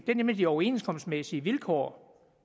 det er nemlig de overenskomstmæssige vilkår